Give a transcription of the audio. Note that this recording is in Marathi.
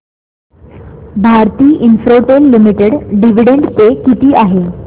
भारती इन्फ्राटेल लिमिटेड डिविडंड पे किती आहे